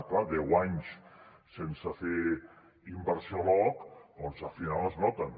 clar deu anys sense fer inversió a l’aoc al final es noten